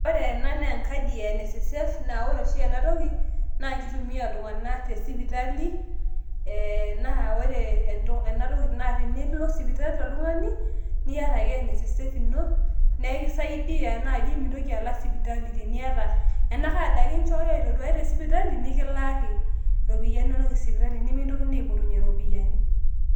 ore ena naa enkadi ee NSSF naa ore oshi enatoki naa kitumia iltung'anak te sipitali ee naa ore ena toki naa tenilo sipitali oltung'ani niata ake NSSF ino neekisaidia naaji mintoki alal sipitali teniata ena card ake inchooyo aitoduaya tesipitali nikilaaki iropiyiani inonok e sipitali nemikintokini aipotunyie iropiyiani.